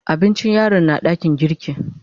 Abincin yaron na dakin girki.